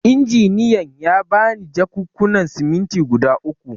Injiniyan ya ba ni jakunkunan siminti guda uku.